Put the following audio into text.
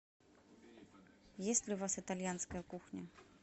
есть ли у вас итальянская кухня